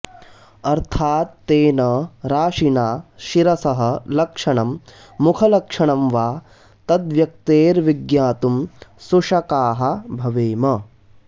अर्थात्तेन राशिना शिरसः लक्षणं मुखलक्षणं वा तद्व्यक्तेर्विज्ञातुं सुशकाः भवेम